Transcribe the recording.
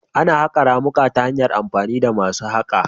Ana haƙa ramuka ta hanyar amfani da masu haƙa